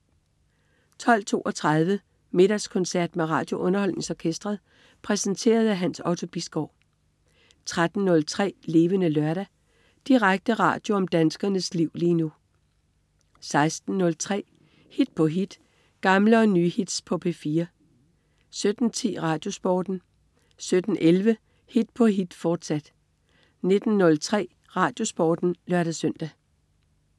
12.32 Middagskoncert med RadioUnderholdningsOrkestret. Præsenteret af Hans Otto Bisgaard 13.03 Levende Lørdag. Direkte radio om danskernes liv lige nu 16.03 Hit på hit. Gamle og nye hits på P4 17.10 RadioSporten 17.11 Hit på hit, fortsat 19.03 RadioSporten (lør-søn)